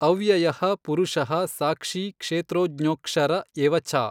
ಅವ್ಯಯಃ ಪುರುಷಃ ಸಾಕ್ಷೀ ಕ್ಷೇತ್ರಜ್ಞೊಕ್ಷರ ಎವ ಚ।